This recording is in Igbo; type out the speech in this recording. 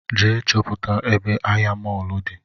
Gaa chọpụta ebe ahịa mọlụ di